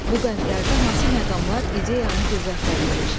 Bu bəndlərdə hansı məqamlar ideyanı qüvvətləndirir?